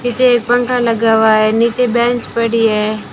नीचे एक पंखा लगा हुआ है नीचे बेंच पड़ी है।